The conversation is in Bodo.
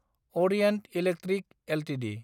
Orient Electric Ltd